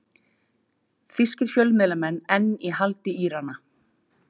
Þýskir fjölmiðlamenn enn í haldi Írana